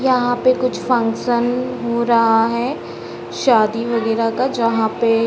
यहाँ पे कुछ फंक्शन हो रहा है शादी वगैरा का जहां पे --